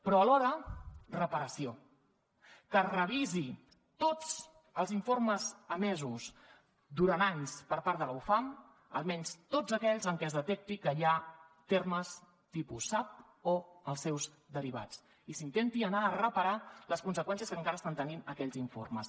però alhora reparació que es revisin tots els informes emesos durant anys per part de la ufam almenys tots aquells en què es detecti que hi ha termes tipus sap o els seus derivats i s’intenti anar a reparar les conseqüències que encara estan tenint aquells informes